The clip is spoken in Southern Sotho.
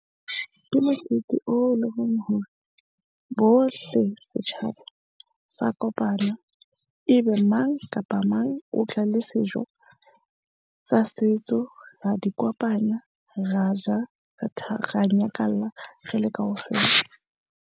Ke mokete o leng hore bohle setjhaba sa kopana ebe mang kapa mang o tla le sejo sa setso. Ra di kopanya, ra ja, re ra nyakalla re le kaofela.